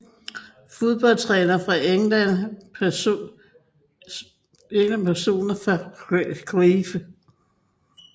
Fodboldtrænere fra England Personer fra Crewe